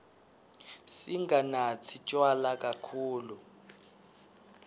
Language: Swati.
singanatsi tjwala kakhulu